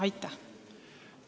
Aitäh!